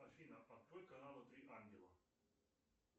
афина открой каналы три ангела